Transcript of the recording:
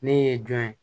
Ne ye jɔn ye